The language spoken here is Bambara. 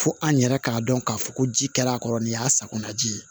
Fo an yɛrɛ k'a dɔn k'a fɔ ko ji kɛla kɔrɔ nin y'a sakonaji ye